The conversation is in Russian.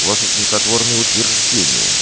ваша смехотворные утверждения